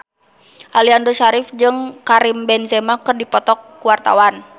Aliando Syarif jeung Karim Benzema keur dipoto ku wartawan